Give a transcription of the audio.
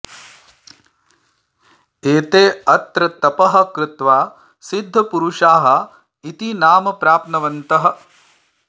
एते अत्र तपः कृत्वा सिद्धपुरुषाः इति नाम प्राप्तवन्तः